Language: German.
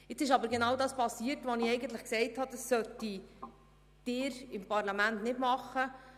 Jetzt ist aber genau das passiert, von dem ich gesagt habe, dass es das Parlament nicht tun sollte.